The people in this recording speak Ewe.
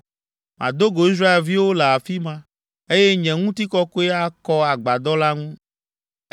Mado go Israelviwo le afi ma, eye nye ŋutikɔkɔe akɔ agbadɔ la ŋu.